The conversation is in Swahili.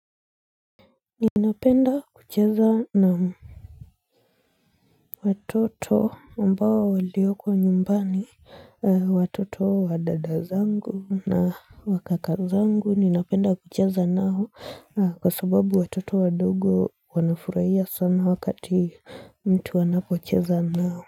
Ninapenda kucheza na watoto ambao walioko nyumbani watoto wa dada zangu na wa kaka zangu ninapenda kucheza nao kwa sababu watoto wadogo wanafurahia sana wakati mtu anapocheza nao.